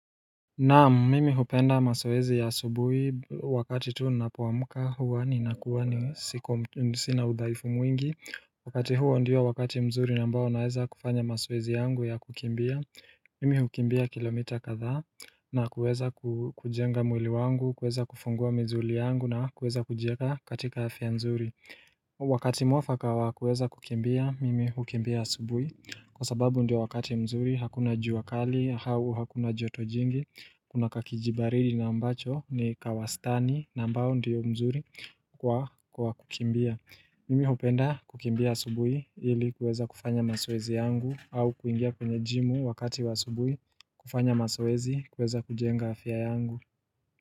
Naam, mimi hupenda mazoezi ya asubuhi wakati tu ninapoamka huwa ninakuwa ni siku sina udhaifu mwingi Wakati huwa ndio wakati mzuri ambao naweza kufanya mazoezi yangu ya kukimbia Mimi hukimbia kilomita kadhaa na kuweza kujenga mwili wangu, kuweza kufungua mizuli yangu na kuweza kujieka katika afya mzuri Wakati mwafaka wa kuweza kukimbia, mimi hukimbia asubuhi Kwa sababu ndio wakati mzuri, hakuna jua kali, au, hakuna jotojingi, kuna kakijibaridi na ambacho ni kawastani, na ambao ndio mzuri kwa kukimbia. Mimi hupenda kukimbia asubuhi ili kuweza kufanya mazoezi yangu au kuingia kwenye jimu wakati wa subuhi kufanya mazoezi kuweza kujenga afya yangu.